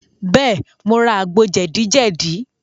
Bẹ́ẹ̀, mo ra àgbo jẹ̀díjẹ̀dí.